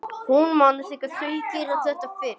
Hún man þegar þau gerðu þetta fyrst.